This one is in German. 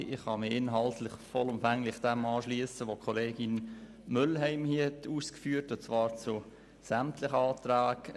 Ich kann mich inhaltlich vollumfänglich dem anschliessen, was Kollegin Mühlheim hier ausgeführt hat, und zwar zu sämtlichen Anträgen.